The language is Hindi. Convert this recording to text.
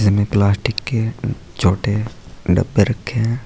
जिनमें प्लास्टिक के उ छोटे डब्बे रखे हैं।